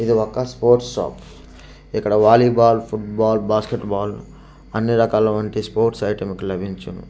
ఇది ఒక sports shop ఇక్కడ వాలీబాల్ ఫుట్బాల్ బాస్కెట్బాల్ అన్ని రకాల వంటి స్పోర్ట్స్ ఐటమ్ ఇక్కడ లభించును.